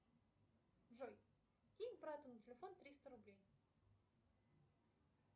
джой кинь брату на телефон триста рублей